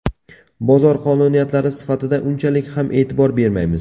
Bozor qonuniyatlari sifatida unchalik ham e’tibor bermaymiz.